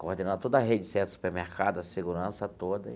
coordenava toda a rede de sete supermercado, a segurança toda.